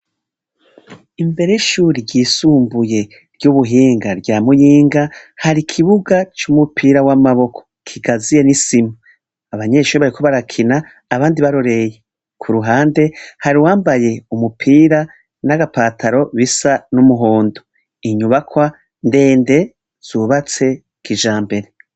Imbere y'ishure ry'isumbuye ryubuhinga rya Muyinga hari ikibuga cumupira wamaboko gikaziye nisima. abanyeshure bariko barakina abandi barorera kuruhande hari uwambaye agapira ipantaro nagapira kumuhondo inyubakwa ndende zubatse kijambere.